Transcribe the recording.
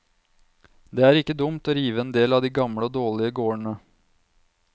Det er ikke dumt å rive en del av de gamle og dårlige gårdene.